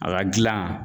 A ka gilan